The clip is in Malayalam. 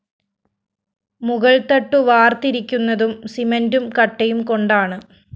മുകള്‍ത്തട്ടു വാര്‍ത്തിരിക്കുന്നതും സിമന്റും കട്ടയും കൊണ്ടാണ്